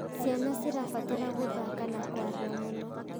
Ciana cirabatara gũthaka na kũaria mũno.